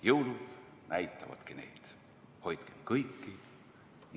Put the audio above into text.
Jõulud näitavadki neid, "Hoidke kõiki!